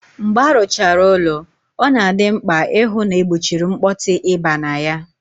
Mgbe aruchara ụlọ, ọ na-adị mkpà ịhụ na-egbochiri mkpọtụ ị baa na ya.